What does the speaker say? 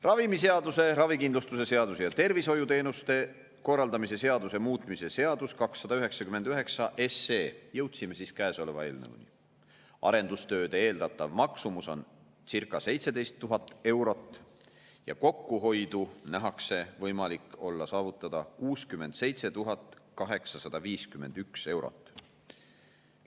Ravimiseaduse, ravikindlustuse seaduse ja tervishoiuteenuste korraldamise seaduse muutmise seaduse eelnõu 299 – jõudsime siis käesoleva eelnõuni – arendustööde eeldatav maksumus on circa 17 000 eurot ja kokkuhoidu nähakse võimalik olevat saavutada 67 851 eurot.